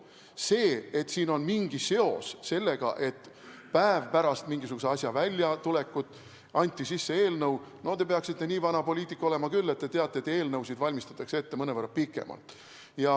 See, et siin on mingi seos sellega, et päev pärast mingisuguse asja väljatulekut anti sisse eelnõu – no te peaksite nii vana poliitik olema küll, et teada, et eelnõusid valmistatakse ette mõnevõrra pikemalt.